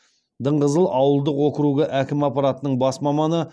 дыңғызыл ауылдық округі әкімі аппаратының бас маманы